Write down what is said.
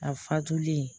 A fatulen